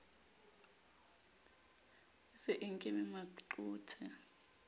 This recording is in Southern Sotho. e se e nkeme maqothe